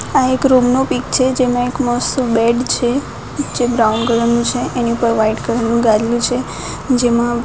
આ એક રૂમ નું પિક છે જેમાં એક મસ્ત બેડ છે પિક્ચર બ્રાઉન કલર નું છે એની ઉપર વ્હાઇટ કલર નું ગાદલું છે જેમાં --